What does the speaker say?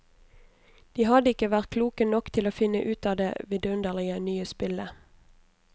De hadde ikke vært kloke nok til å finne ut av det vidunderlige nye spillet.